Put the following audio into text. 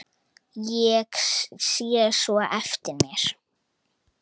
Ég sé svo eftir þér.